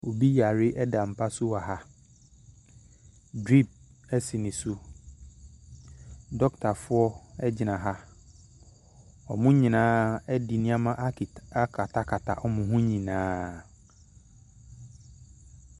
Obi yare da mpa so wɔ ha, drip si ne so. Dɔketafoɔ gyina ha, wɔn nyinaa de nneɛma ake akatakata wɔn ho nyinaa.